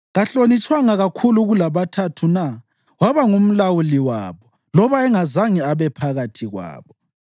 Kahlonitshwanga kakhulu kulabaThathu na? Waba ngumlawuli wabo, loba engazange abe phakathi kwabo.